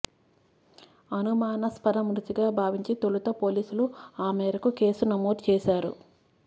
అనుమానస్పద మృతిగా భావించి తొలుత పోలీసులు ఆ మేరకు కేసు నమోదు చేశారు